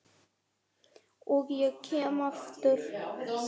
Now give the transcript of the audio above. Og ég kem aftur.